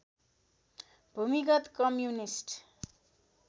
भूमिगत कम्युनिष्ट